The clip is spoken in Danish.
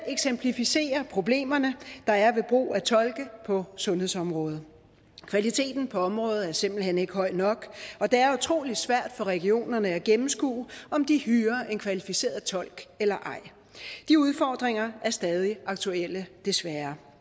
eksemplificerer problemerne der er ved brug af tolke på sundhedsområdet kvaliteten på området er simpelt hen ikke høj nok og det er utrolig svært for regionerne at gennemskue om de hyrer en kvalificeret tolk eller ej de udfordringer er stadig aktuelle desværre